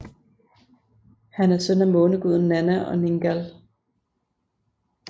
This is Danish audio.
Han er søn af måneguden Nanna og Ningal